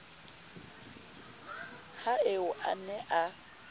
ha eo a ne a